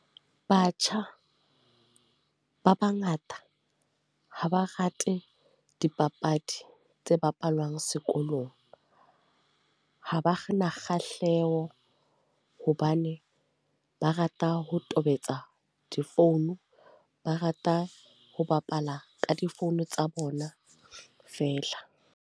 Batjha ba bangata, ha ba rate dipapadi tse bapalwang sekolong. Ha ba na kgahlaho, hobane ba rata ho tobetsa difounu. Ba rata ho bapala ka difounu tsa bona fela.